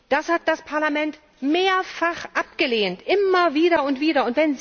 Das hat das Parlament mehrfach abgelehnt immer wieder und wieder.